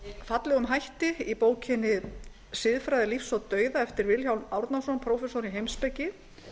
fallegum hætti í bókinni siðfræði lífs og dauða eftir vilhjálm árnason prófessor í heimspeki